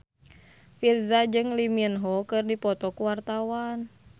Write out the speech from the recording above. Virzha jeung Lee Min Ho keur dipoto ku wartawan